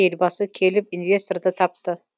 елбасы келіп инвесторды тапты